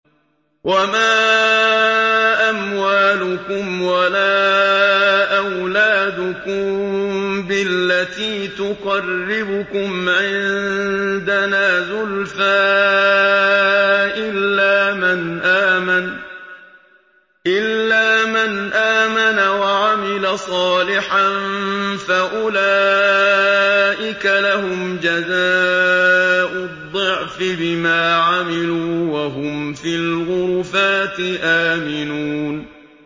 وَمَا أَمْوَالُكُمْ وَلَا أَوْلَادُكُم بِالَّتِي تُقَرِّبُكُمْ عِندَنَا زُلْفَىٰ إِلَّا مَنْ آمَنَ وَعَمِلَ صَالِحًا فَأُولَٰئِكَ لَهُمْ جَزَاءُ الضِّعْفِ بِمَا عَمِلُوا وَهُمْ فِي الْغُرُفَاتِ آمِنُونَ